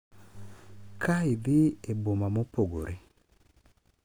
Ka idhi e boma mopogore